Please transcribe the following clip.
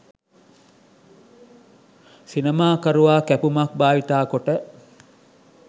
සිනමා කරුවා කැපුමක් භාවිත කොට